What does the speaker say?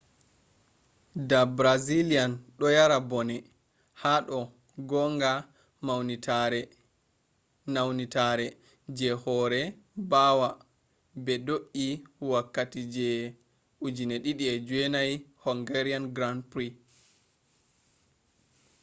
da brazillian do yara bone hado gonga naunitere je hore bawa be do’ii wokkati je 2009 hungarian grand prix